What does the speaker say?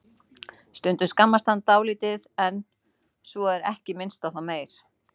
Stundum skammast hann dálítið en svo er ekki minnst á það meir.